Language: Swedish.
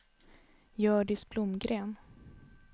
Hjördis Blomgren